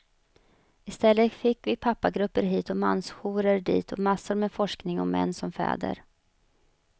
I stället fick vi pappagrupper hit och mansjourer dit och massor med forskning om män som fäder.